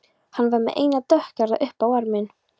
Hann var með eina dökkhærða upp á arminn.